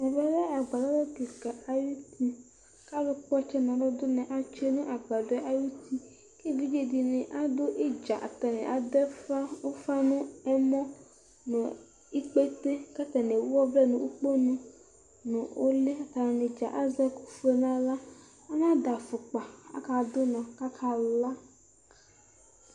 Ɛvɛlɛ agbaɖɔ kika ayutiK'alʋ kpɔtsɛ n'alʋ ɖʋnɔ atsue' nʋ agbaɖɔɛ ayuti k'evidzeɖini aɖʋ idza atani aɖʋ ʋfa nʋ ɛmɔ, nʋ ikpete' k'atani ewu ɔvlɛ n'ikponʋ nʋ uli atanidza azɛ ɛkʋ fue n'awlaAna ɖʋ afʋkpak'akaɖʋ ʋnɔ, k'akala